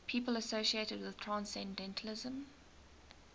people associated with transcendentalism